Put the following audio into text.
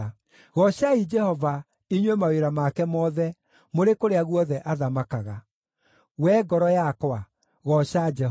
Goocai Jehova, inyuĩ mawĩra make mothe mũrĩ kũrĩa guothe athamakaga. Wee ngoro yakwa, gooca Jehova.